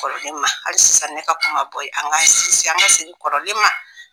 Kɔrɔlen ma hali sisan ne ka kuma bɔ an k'an segin an ka segin kɔrɔlen ma